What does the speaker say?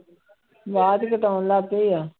ਆਵਾਜ਼ ਕੱਟ ਹੋਣ ਲੱਗ ਗਈ ਆ।